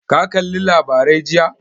Ka kalli labarai jiya?